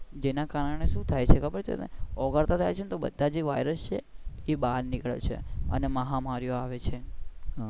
જે ના કારણે શુ થાય છે તને ખબર છે ઓગળતા જાય છે બધા જે વાયરસ છે એ બહાર નીકળે છે ને અને મહામારી ઓ આવે છે.